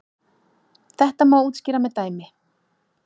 Þetta má útskýra með dæmi.